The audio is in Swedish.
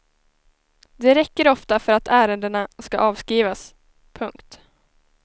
Det räcker ofta för att ärendena ska avskrivas. punkt